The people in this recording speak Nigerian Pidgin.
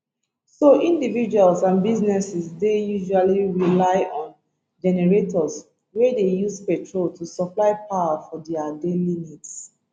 so individuals and businesses dey usually rely on generators wey dey use petrol to supply power for dia daily needs